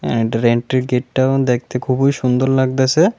এনটারের entry গেটটাও দেখতে খুবই সুন্দর লাগতাছে।